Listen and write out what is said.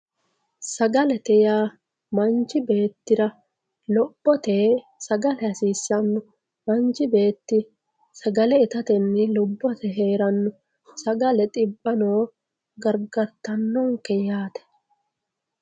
Sagalete yaa manchi beetira lophphtoe hasisano manchi beeti saglea itateni lubbote heaerno saagle xibbano gargartanonke yaate